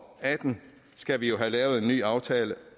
atten skal vi jo have lavet en ny aftale